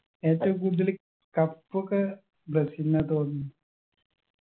ഏറ്റവും കൂടുതല് cup ഒക്കെ ബ്രസീലിനാ തോന്ന്